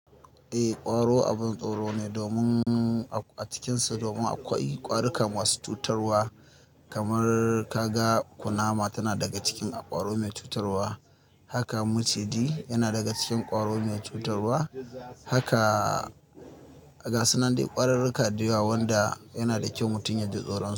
Eh, ƙwaro abin tsoro ne domin a cikinsu, domin akwai ƙwarukan masu cutarwa kamar kaga kunama tana daga cikin ƙwaro mai cutarwa. Haka maciji yana daga cikin ƙwaro mai cutarwa. Haka gasunandai ƙwararru ka dayawa wanda yana da kyau mutum ya ji tsoro.